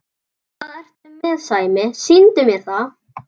Hvað ertu með Sæmi, sýndu mér það!